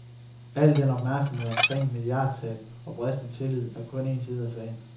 Al den opmærksomhed omkring milliardtab og bristet tillid er kun en side af sagen.